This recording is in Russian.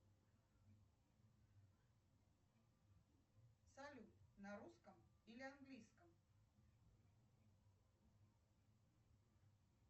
салют на русском или английском